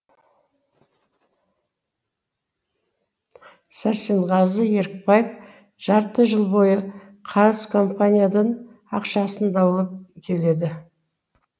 сәрсенғазы ерікбаев жарты жыл бойы қарыз компаниядан ақшасын даулап келеді